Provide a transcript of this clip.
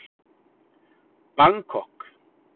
Bangkok